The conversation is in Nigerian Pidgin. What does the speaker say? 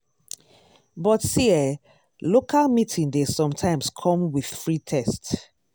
but see eh local meeting dey sometimes come with free test.